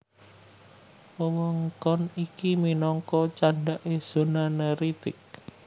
Wewengkon iki minangka candhaké zona neritik